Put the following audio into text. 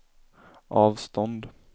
avstånd